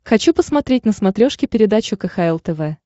хочу посмотреть на смотрешке передачу кхл тв